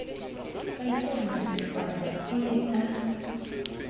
ka ikela masihlwane o nea